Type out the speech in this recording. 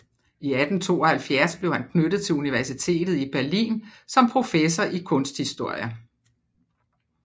I 1872 blev han knyttet til universitetet i Berlin som professor i kunsthistorie